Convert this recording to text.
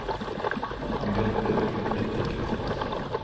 Han bretter ut et dikt også.